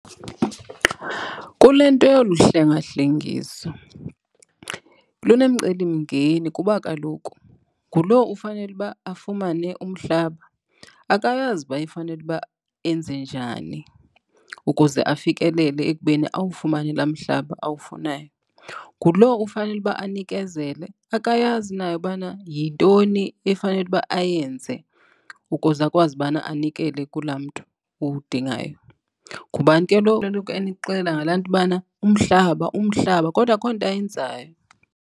Kule nto yolu hlengahlengiso lunemcelimngeni kuba kaloku ngulo ufanele uba afumane umhlaba, akayazi uba ufanele uba enze njani ukuze afikelele ekubeni awufumane laa mhlaba awufunayo. Nguloo ufanele uba anikezele akayazi naye ubana yintoni efanele uba ayenze ukuze akwazi bana anikele kulaa mntu uwudingayo. Ngubani ke lo enixelela ngalaa nto bana umhlaba, umhlaba kodwa akukho nto ayenzayo.